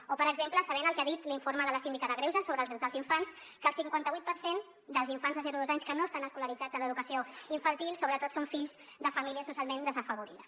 o per exemple sabent el que ha dit l’informe de la síndica de greuges sobre els drets dels infants que el cinquanta vuit per cent dels infants de zero a dos anys que no estan escolaritzats a l’educació infantil sobretot són fills de famílies socialment desafavorides